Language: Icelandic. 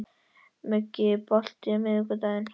Muggi, er bolti á miðvikudaginn?